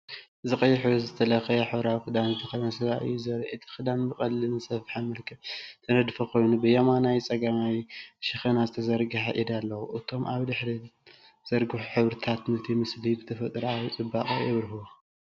እዚ ቀይሕ ሕብሪ ዝተለኽየ ሕብራዊ ክዳን ዝተከደነ ሰብኣይ እዩ ዘርኢ። እቲ ክዳን ብቐሊልን ዝተሰፍሐን መልክዕ ዝተነድፈ ኮይኑ፡ ብየማናይን ጸጋማይን ሸነኽ ዝተዘርግሐ ኢድ ኣለዎ።"እቶም ኣብ ድሕሪት ዝተዘርግሑ ሕብርታት ነቲ ምስሊ ብተፈጥሮኣዊ ጽባቐ የብርህዎ።